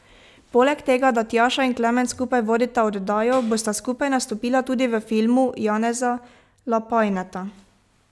Polega tega, da Tjaša in Klemen skupaj vodita oddajo, bosta skupaj nastopila tudi v filmu Janeza Lapajneta.